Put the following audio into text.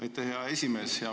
Aitäh, hea esimees!